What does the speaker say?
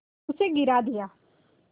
उसे गिरा दिया